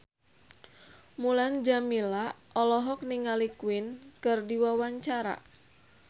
Mulan Jameela olohok ningali Queen keur diwawancara